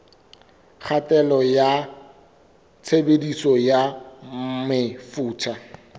kgatello ya tshebediso ya mefuta